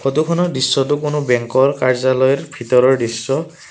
ফটোখনৰ দৃশ্যটো কোনো বেংকৰ কাৰ্য্যালয়ৰ ভিতৰৰ দৃশ্য।